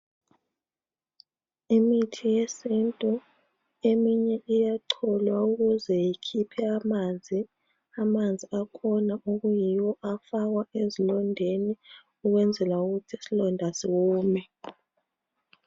Imithi yesintu eminye iyacholwa ukuze ikhiphe amanzi. Amanzi akhona okuyiwo afakwa esilondeni, ukuze isilonda siwome,